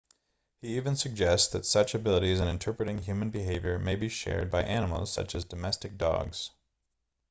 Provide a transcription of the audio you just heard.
he even suggests that such abilities in interpreting human behavior may be shared by animals such as domestic dogs